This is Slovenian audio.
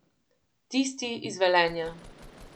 Tisti iz Velenja.